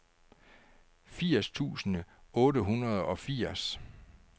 firs tusind otte hundrede og firs